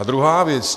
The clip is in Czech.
A druhá věc.